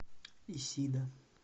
исида